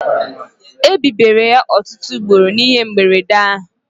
Ebibiri ya ọtụtụ ugboro n'ihe mberede ahụ